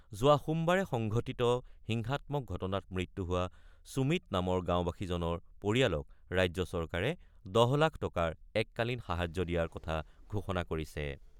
যোৱা সোমবাৰে সংঘটিত হিংসাত্মক ঘটনাত মৃত্যু হোৱা সুমিত নামৰ গাঁওবাসীজনৰ পৰিয়ালক ৰাজ্য চৰকাৰে ১০ লাখ টকাৰ এককালীন সাহায্য দিয়াৰ কথা ঘোষণা কৰিছে।